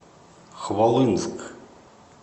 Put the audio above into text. хвалынск